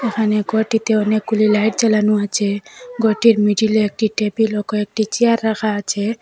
এখানে ঘরটিতে অনেকগুলি লাইট জ্বালানো আছে ঘরটির মিডিলে একটি টেবিল ও কয়েকটি চেয়ার রাখা আছে।